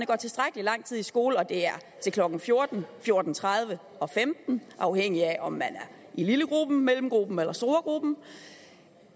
går tilstrækkelig lang tid i skole og det er til klokken fjorten fjorten tredive og femten nul afhængigt af om man er i lillegruppen mellemgruppen eller storegruppen